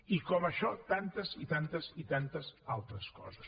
i com això tantes i tantes i tantes altres coses